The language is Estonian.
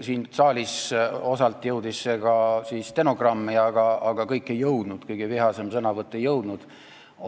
Siin saalis – osalt jõudis see ka stenogrammi, aga kõik ei jõudnud, kõige vihasem sõnavõtt ei jõudnud –